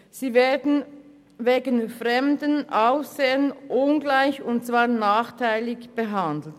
Sie werden wegen fremden Aussehens ungleich – und zwar nachteilig – behandelt.